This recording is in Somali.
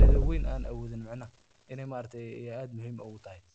xakameeyo dhul-burburka.